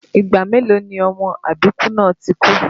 Ìgbà mélòó ni ọmọ àbíkú náà ti kú?